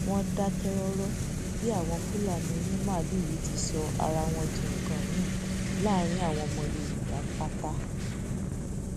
wọn dákẹ rọrọ bí àwọn fúlàní onímaalùú yìí ti sọ ara wọn di nǹkan mìín láàrin àwọn ọmọ yorùbá pátá